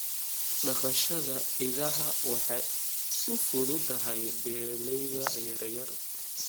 Dhaqashada idaha waa u fududahay beeralayda yaryar.